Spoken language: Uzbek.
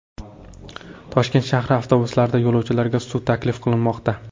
Toshkent shahri avtobuslarida yo‘lovchilarga suv taklif qilinmoqda.